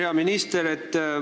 Hea minister!